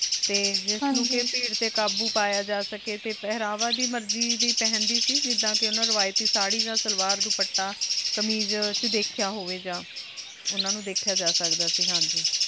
T ਜਿਸ ਤਾਰੀਕ਼ੀ ਨੂ ਭੇਰਰ ਟੀ ਕਾਬੋ ਪਾਯਾ ਜਾ ਸਕੀ ਟੀ ਪਹਨਾਵਾ ਆਪਣੀ ਮਰਜ਼ੀ ਦੇ ਪੇਹ੍ਨ੍ਦੀ ਸੀਗੀ ਜਿਦਾਂ ਕੀ ਓਹਨਾ ਨੂ ਰਿਵਾਯ੍ਤੀ ਸਰ੍ਹੀ ਨਾਲ ਸ਼ਲਵਾਰ ਦੁਪਾਤਾ ਕ਼ਮੀਜ਼ ਵਿਚ ਦੇਖ੍ਯਾ ਹੋਵੀ ਯਾ ਓਹਨਾ ਨੂ ਦੇਖ੍ਯਾ ਜਾ ਸਕਦਾ